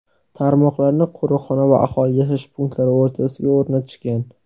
Tarmoqlarni qo‘riqxona va aholi yashash punktlari o‘rtasiga o‘rnatishgan.